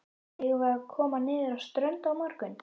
Eigum við að koma niður á strönd á morgun?